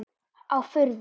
Á furðu